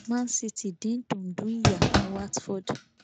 man city dín dundú ìyá fún watford